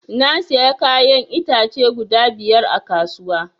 Na siya kayan itace guda biyar a kasuwa